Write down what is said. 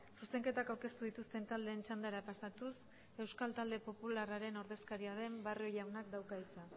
zuzenketak aurkeztu dituzten taldeen txandara pasatuz euskal talde popularraren ordezkaria den barrio jaunak dauka hitza